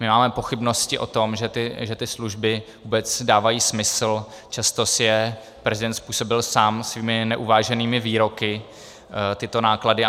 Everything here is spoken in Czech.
My máme pochybnosti o tom, že ty služby vůbec dávají smysl, často si je prezident způsobil sám svými neuváženými výroky, tyto náklady.